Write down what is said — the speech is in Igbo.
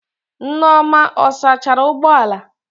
Nneoma ọ sachara ụgbọ ala?